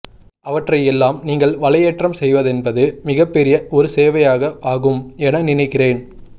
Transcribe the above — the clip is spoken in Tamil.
அவற்றை எல்லாம் நீங்கள் வலையேற்றம் செய்வதென்பது மிகப்பெரிய ஒரு சேவையாக ஆகும் என நினைக்கிறேன்